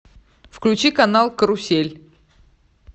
включи канал карусель